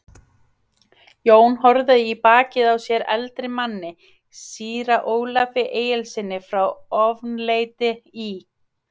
Jón horfði í bakið á sér eldri manni, síra Ólafi Egilssyni frá Ofanleiti í